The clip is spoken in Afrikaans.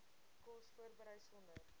kos voorberei sonder